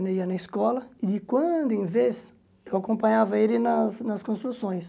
Eu ia na escola e quando, em vez, eu acompanhava ele nas nas construções.